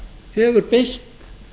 hefur beitt